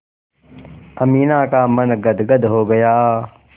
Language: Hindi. अमीना का मन गदगद हो गया